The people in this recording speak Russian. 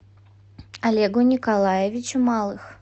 олегу николаевичу малых